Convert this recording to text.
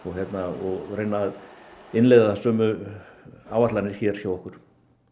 og reyna að innleiða sömu áætlanir hjá okkur